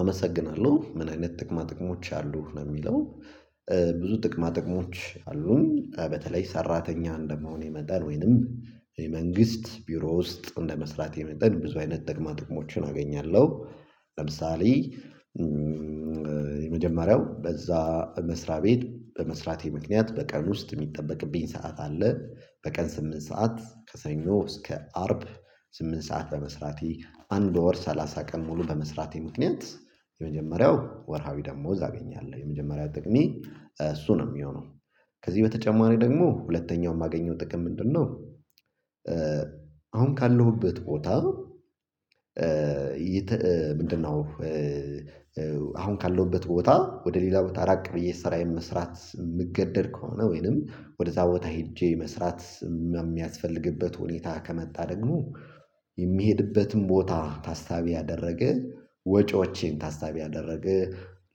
አመሰግናለሁ ምን አይነት ጥቅማ ጥቅሞች አሉ ነው የሚለው? ብዙ ጥቅማ ጥቅሞች አሉኝ። በተለይ ሰራተኛ እንደመሆኔ መጠን ወይንም የመንግስት ቢሮ ውስጥ እንደመስራቴ መጠን ብዙ አይነት ጥቅማ ጥቅሞችን አገኛለሁ። ለምሳሌ የመጀመሪያው በዛ መስሪያ ቤት በመስራቴ ምክንያት በቀን ውስጥ የሚጠበቅብኝ ሰዓት አለ። በቀን ስምንት ሰዓት ከሰኞ እስከ አርብ ስምንት ሰዓት በመስራቴ አንድ ወር ሰላሳ ቀን ሙሉ በመስራቴ ምክንያት የመጀመሪያው ወርሃዊ ደሞዝ አገኛለሁ የመጀመሪያ ጥቅሜ እሱ ነው የሚሆነው። ከዚህ በተጨማሪ ደግሞ ሁለተኛው የማገኘው ጥቅም ምንድነው? አሁን ካለሁበት ቦታ? ምንድነው? አሁን ካለሁበት ቦታ ወደ ሌላ ቦታ ራቅ ብዬ ስራዬን መስራት የምገደድ ከሆነ ወይንም ወደዛ ቦታ ሄጄ መስራት የሚ የሚያስፈልግበት ሁኔታ ከመጣ ደግሞ። የሚሄድበትን ቦታ ታሳቢ ያደረገ ወጪዎቼን ታሳቢ ያደረገ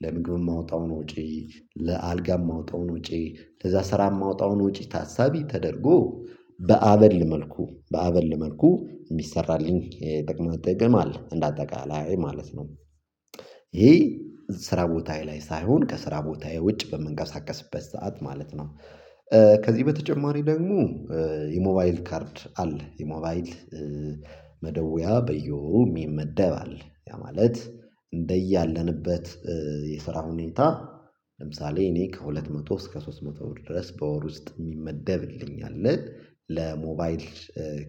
ለምግብ የማወጣውን ወጪ ለአልጋ የማወጣውን ወጪ ለዛ ስራ የማወጣውን ውጪ ታሳቢ ተደርጎ በአበል መልኩ በአበል መልኩ የሚሰራልኝ የጥቅማ ጥቅም አለ እንደ አጠቃላይ ማለት ነው። ይሄ ስራ ቦታዬ ላይ ሳይሆን ከስራ ቦታዬ ውጭ በምንቀሳቀስበት ሰዓት ማለት ነው። አመሰግናለሁ ምን አይነት ጥቅማ ጥቅሞች አሉ ነው ሚለው? ለምሳሌ እኔ ከሁለት መቶ እስከ ሶስት መቶ ብር ድረስ በወር ውስጥ ሚመደብልኝ አለ። ለሞባይል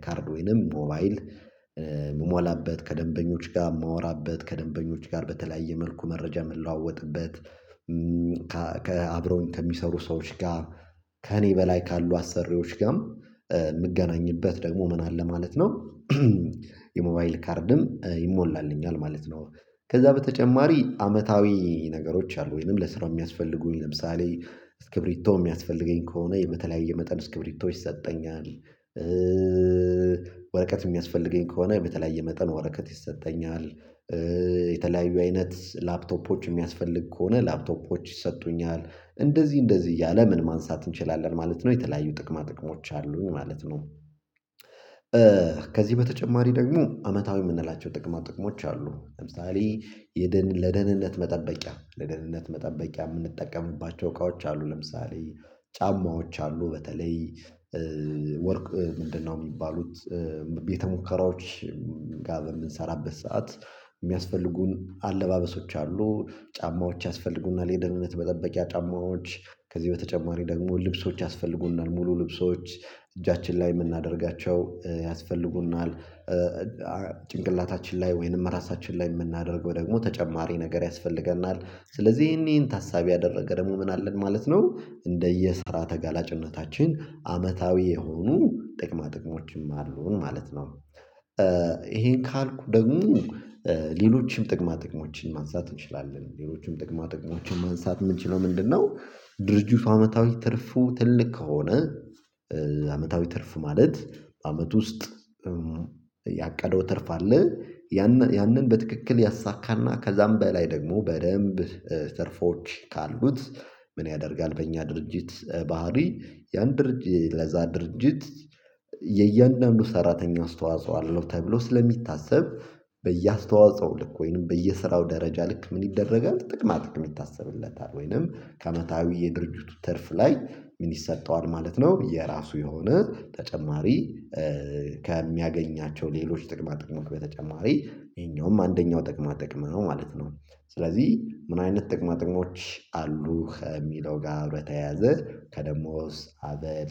ካርድ ወይንም ሞባይል ምሞላበት ከደንበኞች ጋር ማወራበት ከደንበኞች ጋር በተለያየ መልኩ መረጃ ምለዋወጥበት። ከ አብረውኝ ከሚሰሩ ሰዎች ጋር ከእኔ በላይ ካሉ አሰሪዎች ጋም ምገናኝበት ደግሞ ምን አለ ማለት ነው። የሞባይል ካርድም ይሞላልኛል ማለት ነው። ከዛ በተጨማሪ አመታዊ ነገሮች አሉ ወይንም ለስራ የሚያስፈልጉኝ ለምሳሌ እስክብሪቶ የሚያስፈልገኝ ከሆነ የ በተለያየ መጠን እስክብሪቶ ይሰጠኛል። ወረቀት የሚያስፈልገኝ ከሆነ በተለያየ መጠን ወረቀት ይሰጠኛል። የተለያዩ አይነት ላፕቶፖች የሚያስፈልግ ከሆነ ላፕቶፖች ይሰጡኛል። እንደዚህ እንደዚህ እያለ ምን ማንሳት እንችላለን ማለት ነው የተለያዩ ጥቅማ ጥቅሞች አሉኝ ማለት ነው። ከዚህ በተጨማሪ ደግሞ አመታዊ የምንላቸው ጥቅማ ጥቅሞች አሉ ለምሳሌ የደን የደህንነት መጠበቂያ ለደህንነት መጠበቂያ የምንጠቀምባቸው እቃዎች አሉ። ለምሳሌ ጫማዎች አሉ በተለይ ወርቅ ምንድነው የሚባሉት? ቤተ ሙከራዎች ጋር በምንሰራበት ሰዓት የሚያስፈልጉን አለባበሶች አሉ። ጫማዎች ያስፈልጉናል የደህንነት መጠበቂያ ጫማዎች ከዚህ በተጨማሪ ደግሞ ልብሶች ያስፈልጉናል ሙሉ ልብሶች እጃችን ላይ የምናደርጋቸው ያስፈልጉናል። ጭንቅላታችን ላይ ወይንም ራሳችን ላይ የምናደርገው ደግሞ ተጨማሪ ነገር ያስፈልገናል ስለዚህ ይሄን ይሄን ታሳቢ ያደረገ ደግሞ ምን አለን ማለት ነው። እንደየስራ ተጋላጭነታችን አመታዊ የሆኑ ጥቅማ ጥቅሞችም አሉን ማለት ነው። ይሄን ካልኩ ደግሞ ሌሎችም ጥቅማ ጥቅሞችን ማንሳት እንችላለን ሌሎችም ጥቅማ ጥቅሞችን ማንሳት ምንችለው ምንድነው? ድርጅቱ አመታዊ ትርፉ ትልቅ ከሆነ። አመታዊ ትርፍ ማለት አመት ውስጥ ያቀደው ትርፍ አለ። ያን ያንን በትክክል ያሳካና ከዛም በላይ ደግሞ በደንብ ትርፎች ካሉት። ምን ያደርጋል በእኛ ድርጅት? ባህሪ ያን ድርጅት ለዛ ድርጅት የእያንዳንዱ ሰራተኛ አስተዋጽኦ አለው ተብሎ ስለሚታሰብ በየአስተዋጽኦ ልክ ወይንም በየስራው ደረጃ ልክ ምን ይደረጋል ጥቅማ ጥቅም ይታሰብለታል። ወይንም ከዓመታዊ የድርጅቱ ትርፍ ላይ ምን ይሰጠዋል ማለት ነው። የራሱ የሆነ ተጨማሪ እ ከሚያገኛቸው ሌሎች ጥቅማ ጥቅሞች በተጨማሪ ይሄኛውም አንደኛው ጥቅማ ጥቅም ነው ማለት ነው። ስለዚህ ምን አይነት ጥቅማ ጥቅሞች? አሉ ከሚለው ጋር በተያዘ ከደሞዝ አበል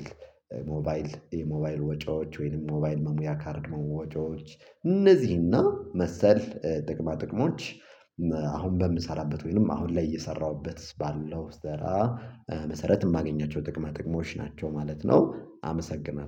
ሞባይል የሞባይል ወጪዎች ወይንም ሞባይል መሙያ ካርድ መ ሙ ወጪዎች እነዚህና መሰል ጥቅማ ጥቅሞች። አሁን በምሰራበት ወይንም አሁን ላይ እየሰራሁበት ባለው ስራ መሰረት የማገኛቸው ጥቅማ ጥቅሞች ናቸው ማለት ነው። አመሰግናለሁ